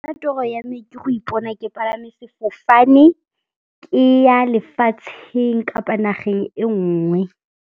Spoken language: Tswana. Nna toro ya me ke go ipona ke palame sefofane, ke ya lefatsheng kapa nageng e nngwe.